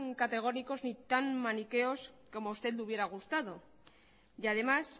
categóricos y tan maniqueos como a usted le hubiera gustado y además